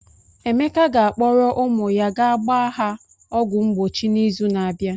Emeka ga-akpọrọ ụmụ ya ga gbaa ha ọgwụ mgbochi n'izu na-abịa.